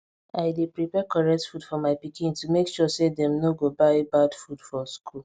i dey prepare correct food for my pikin to make sure say dem no go buy bad food for school